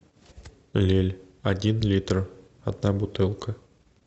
лель один литр одна бутылка